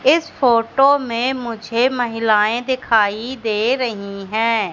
इस फोटो में मुझे महिलाएं दिखाई दे रही हैं।